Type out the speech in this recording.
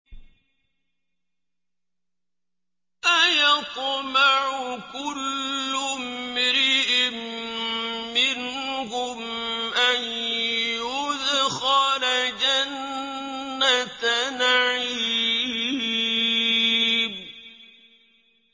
أَيَطْمَعُ كُلُّ امْرِئٍ مِّنْهُمْ أَن يُدْخَلَ جَنَّةَ نَعِيمٍ